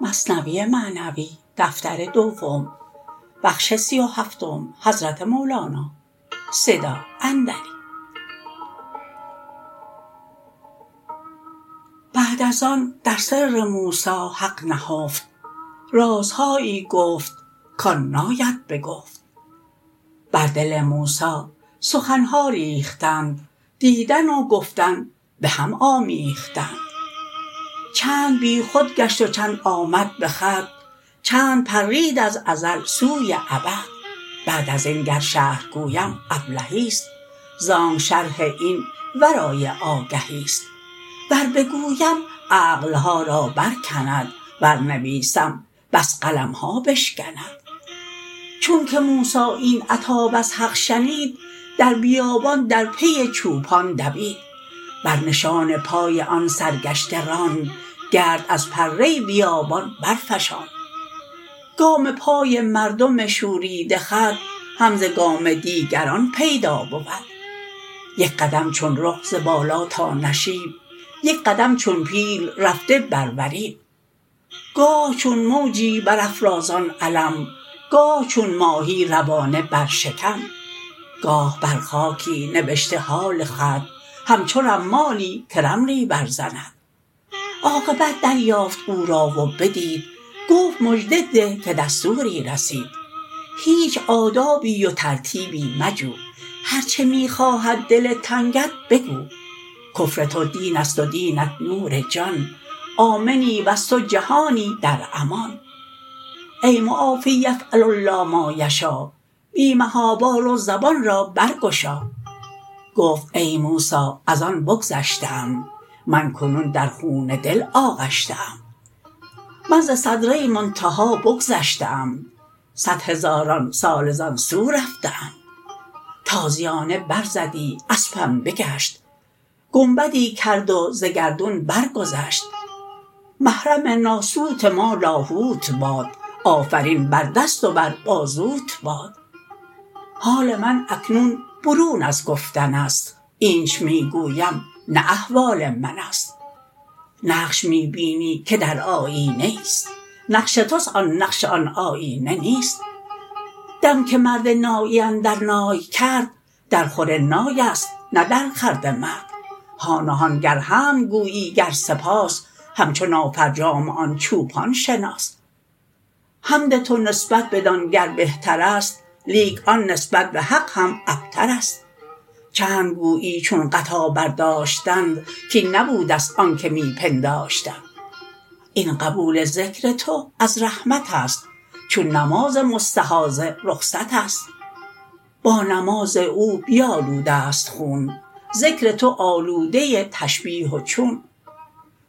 بعد از آن در سر موسی حق نهفت رازهایی گفت کان ناید به گفت بر دل موسی سخن ها ریختند دیدن و گفتن به هم آمیختند چند بی خود گشت و چند آمد به خود چند پرید از ازل سوی ابد بعد از این گر شرح گویم ابلهیست زانک شرح این ورای آگهیست ور بگویم عقل ها را برکند ور نویسم بس قلم ها بشکند چون که موسی این عتاب از حق شنید در بیابان در پی چوپان دوید بر نشان پای آن سرگشته راند گرد از پره بیابان برفشاند گام پای مردم شوریده خود هم ز گام دیگران پیدا بود یک قدم چون رخ ز بالا تا نشیب یک قدم چون پیل رفته بر وریب گاه چون موجی بر افرازان علم گاه چون ماهی روانه بر شکم گاه بر خاکی نبشته حال خود همچو رمالی که رملی بر زند عاقبت دریافت او را و بدید گفت مژده ده که دستوری رسید هیچ آدابی و ترتیبی مجو هرچه می خواهد دل تنگت بگو کفر تو دین است و دینت نور جان آمنی وز تو جهانی در امان ای معاف یفعل الله ما یشا بی محابا رو زبان را برگشا گفت ای موسی از آن بگذشته ام من کنون در خون دل آغشته ام من ز سدره منتهی بگذشته ام صد هزاران ساله زان سو رفته ام تازیانه بر زدی اسپم بگشت گنبدی کرد و ز گردون بر گذشت محرم ناسوت ما لاهوت باد آفرین بر دست و بر بازوت باد حال من اکنون برون از گفتن است اینچ می گویم نه احوال من است نقش می بینی که در آیینه ای ست نقش توست آن نقش آن آیینه نیست دم که مرد نایی اندر نای کرد درخور نایست نه درخورد مرد هان و هان گر حمد گویی گر سپاس همچو نافرجام آن چوپان شناس حمد تو نسبت بدان گر بهترست لیک آن نسبت به حق هم ابترست چند گویی چون غطا برداشتند کاین نبوده ست آنک می پنداشتند این قبول ذکر تو از رحمت است چون نماز مستحاضه رخصت است با نماز او بیالوده ست خون ذکر تو آلوده تشبیه و چون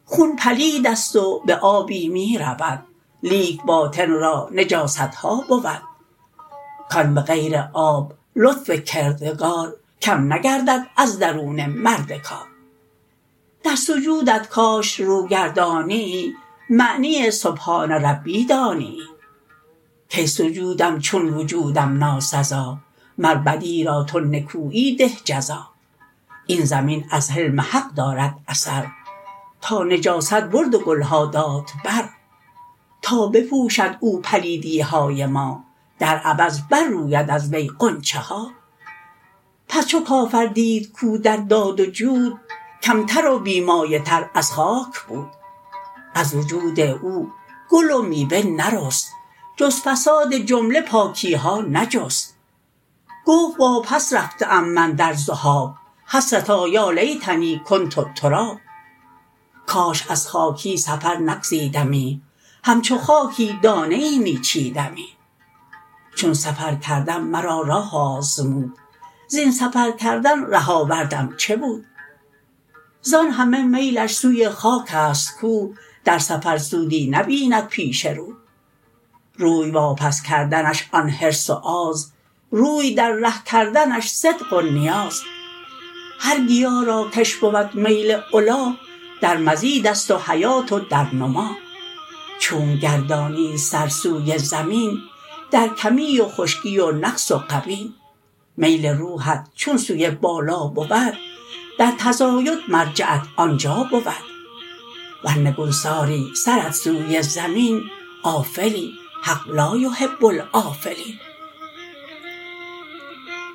خون پلید است و به آبی می رود لیک باطن را نجاست ها بود کان به غیر آب لطف کردگار کم نگردد از درون مرد کار در سجودت کاش روگردانیی معنی سبحان ربی دانیی کای سجودم چون وجودم ناسزا مر بدی را تو نکویی ده جزا این زمین از حلم حق دارد اثر تا نجاست برد و گل ها داد بر تا بپوشد او پلیدی های ما در عوض بر روید از وی غنچه ها پس چو کافر دید کاو در داد و جود کم تر و بی مایه تر از خاک بود از وجود او گل و میوه نرست جز فساد جمله پاکی ها نجست گفت واپس رفته ام من در ذهاب حسرتا یا لیتنی کنت تراب کاش از خاکی سفر نگزیدمی همچو خاکی دانه ای می چیدمی چون سفر کردم مرا راه آزمود زین سفرکردن ره آوردم چه بود زان همه میلش سوی خاک است کو در سفر سودی نبیند پیش رو روی واپس کردنش آن حرص و آز روی در ره کردنش صدق و نیاز هر گیا را کش بود میل علا در مزید است و حیات و در نما چونک گردانید سر سوی زمین در کمی و خشکی و نقص و غبین میل روحت چون سوی بالا بود در تزاید مرجعت آنجا بود ور نگوساری سرت سوی زمین آفلی حق لا یحب الآفلین